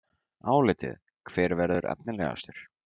Álitið: Hver verður efnilegastur?